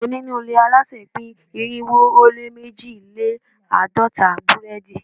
Onínúure alásè pín irinwo ó lé mejilelaadọta burẹdi